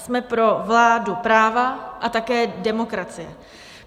Jsme pro vládu práva a také demokracii.